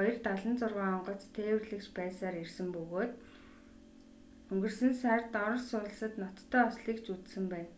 ii-76 онгоц тээвэрлэгч байсаар ирсэн ба өнгөрсөн сард орос улсад ноцтой ослыг ч үзсэн байна